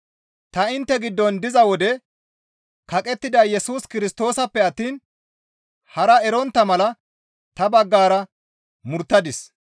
Ta intte giddon diza wode kaqettida Yesus Kirstoosappe attiin hara erontta mala ta baggara murttadis.